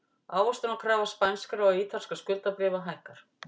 Ávöxtunarkrafa spænskra og ítalskra skuldabréfa hækkar